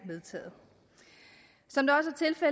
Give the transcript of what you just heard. taget